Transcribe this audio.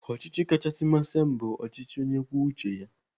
Ọchịchị kachasị masị m bụ ọchịchị onye kwuo uche ya.